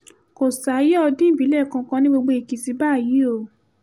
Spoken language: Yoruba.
kò sáàyé ọdún ìbìlẹ̀ kankan ní gbogbo èkìtì báyìí o